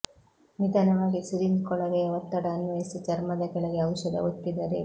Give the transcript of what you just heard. ನಿಧಾನವಾಗಿ ಸಿರಿಂಜ್ ಕೊಳವೆಯ ಒತ್ತಡ ಅನ್ವಯಿಸಿ ಚರ್ಮದ ಕೆಳಗೆ ಔಷಧ ಒತ್ತಿದರೆ